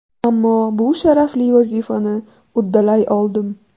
Ammo bu sharafli vazifani uddalay oldim.